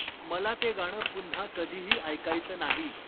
मला ते गाणं पुन्हा कधीही ऐकायचं नाही